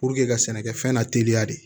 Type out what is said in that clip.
ka sɛnɛkɛfɛn la teliya de